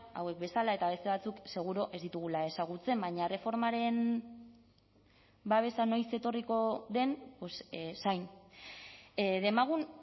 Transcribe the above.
hauek bezala eta beste batzuk seguru ez ditugula ezagutzen baina erreformaren babesa noiz etorriko den zain demagun